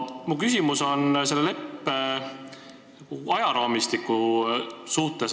Minu küsimus on aga selle leppe ajaraamistiku kohta.